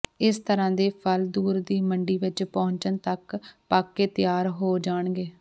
ਇਸ ਤਰ੍ਹਾਂ ਦੇ ਫਲ ਦੂਰ ਦੀ ਮੰਡੀ ਵਿਚ ਪਹੁੰਚਣ ਤੱਕ ਪੱਕ ਕੇ ਤਿਆਰ ਹੋ ਜਾਣਗੇ